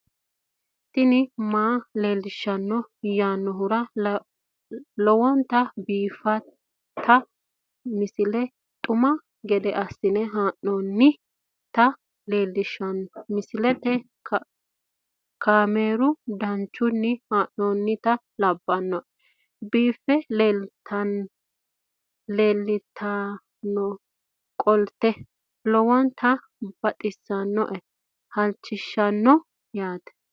tini maa leelishshanno yaannohura lowonta biiffanota misile xuma gede assine haa'noonnita leellishshanno misileeti kaameru danchunni haa'noonni lamboe biiffe leeeltannoqolten lowonta baxissannoe halchishshanno yaate